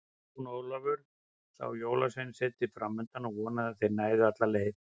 Jón Ólafur sá Jólasveinasetrið framundan og vonaði að þeir næðu alla leið.